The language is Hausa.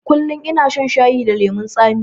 Kullum ina shan shayi da lemon tsami